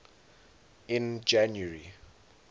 in january